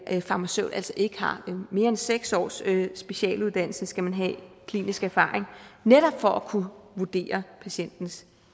en farmaceut altså ikke har mere end seks års specialuddannelse skal man have klinisk erfaring netop for at kunne vurdere patientens